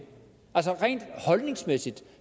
altså rent holdningsmæssigt